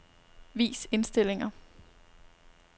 Vis indstillinger.